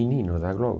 Menino da Globo.